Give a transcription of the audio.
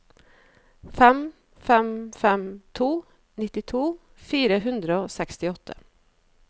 fem fem fem to nittito fire hundre og sekstiåtte